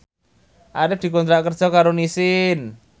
Arif dikontrak kerja karo Nissin